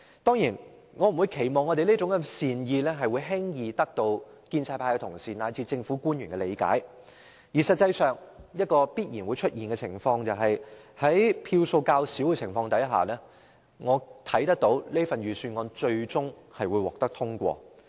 當然，我不會期望我們善意的忠告會輕易得到建制派同事及政府官員的理解，而必然會出現的情況是在反對票數較少的情況下，《條例草案》最終會獲得通過。